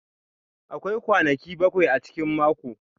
Akwai kwanaki bakwai a cikin mako.